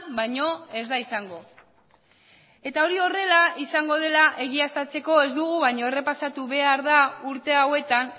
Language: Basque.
baino ez da izango eta hori horrela izango dela egiaztatzeko ez dugu baino errepasatu behar da urte hauetan